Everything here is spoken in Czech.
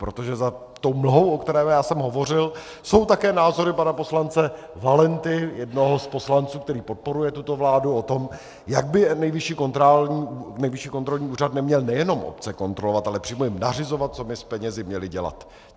Protože za tou mlhou, o které já jsem hovořil, jsou také názory pana poslance Valenty, jednoho z poslanců, který podporuje tuto vládu, o tom, jak by Nejvyšší kontrolní úřad neměl nejenom obce kontrolovat, ale přímo jim nařizovat, co by s penězi měli dělat.